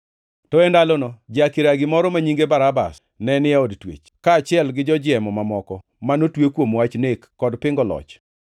To e ndalono ja-kiragi moro ma nyinge Barabas, ne ni e od twech, kaachiel gi jojiemo mamoko manotwe kuom wach nek kod pingo loch.